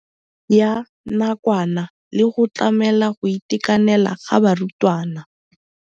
Ya nakwana le go tlamela go itekanela ga barutwana.